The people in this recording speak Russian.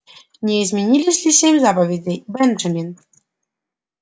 не изменились ли семь заповедей бенджамин